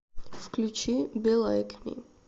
включи би лайк ми